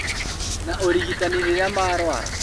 Na ũrigitani rĩrĩa marũara